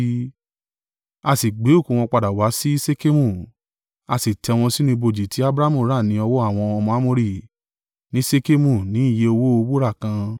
A sì gbé òkú wọn padà wá sí Ṣekemu, a sì tẹ́ wọn sínú ibojì ti Abrahamu rà ni ọwọ́ àwọn ọmọ Amori ní Ṣekemu ní iye owó wúrà kan.